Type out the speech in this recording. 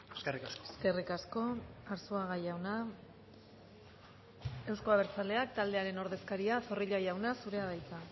eskerrik asko eskerrik asko arzuaga jauna euzko abertzaleak taldearen ordezkaria zorrilla jauna zurea da hitza